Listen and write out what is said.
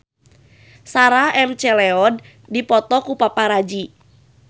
Sarah McLeod dipoto ku paparazi